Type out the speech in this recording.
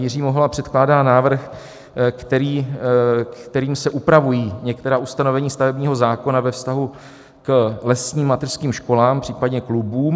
Jiří Mihola předkládá návrh, kterým se upravují některá ustanovení stavebního zákona ve vztahu k lesním mateřským školám, případně klubům.